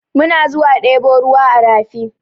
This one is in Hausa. Muna zuwa ɗebo ruwa a rafi.